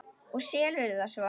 Og selurðu það svo?